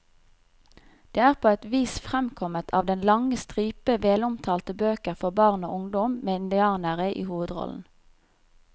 Det er på et vis fremkommet av den lange stripe velomtalte bøker for barn og ungdom med indianere i hovedrollen.